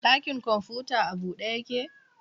Ɗakin kwamfuta a bude yake?